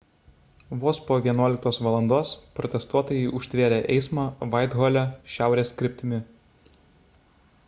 vos po 11:00 val protestuotojai užtvėrė eismą vaithole šiaurės kryptimi